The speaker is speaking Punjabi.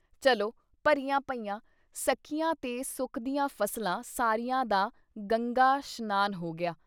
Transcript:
ਚਲੋ ਭਰੀਆਂ ਪਈਆਂ, ਸਕੀਆਂ ਤੇ ਸੁੱਕਦੀਆਂ ਫਸਲਾਂ ਸਾਰੀਆਂ ਦਾ ਗੰਗਾ 'ਸ਼ਨਾਨ ਹੋ ਗਿਆ।